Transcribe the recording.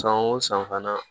San o san fana